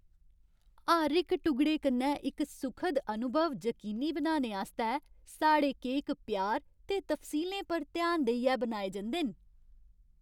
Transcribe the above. हर इक टुगड़े कन्नै इक सुखद अनुभव जकीनी बनाने आस्तै साढ़े केक प्यार ते तफसीलें पर ध्यान देइयै बनाए जंदे न।